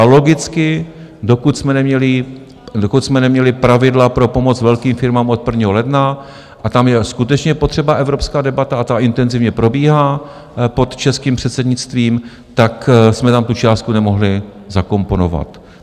A logicky, dokud jsme neměli pravidla pro pomoc velkým firmám od 1. ledna - a tam je skutečně potřeba evropská debata, a ta intenzivně probíhá pod českým předsednictvím - tak jsme tam tu částku nemohli zakomponovat.